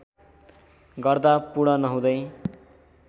गर्दा पूर्ण नहुँदै